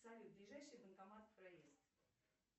салют ближайший банкомат проезд